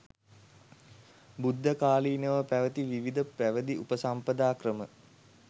බුද්ධකාලීනව පැවැති විවිධ පැවිදි උපසම්පදා ක්‍රම